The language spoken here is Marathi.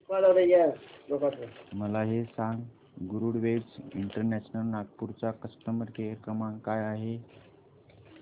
मला हे सांग गरुडवेग इंटरनॅशनल नागपूर चा कस्टमर केअर क्रमांक काय आहे